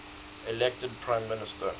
elected prime minister